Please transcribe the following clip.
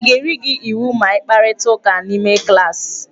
A ga-eri gi iwu ma ịkparịta ụka n'ime klaasị?